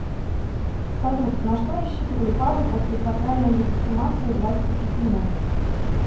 салют на что рассчитывали папы после сакральной легитимации власти пипина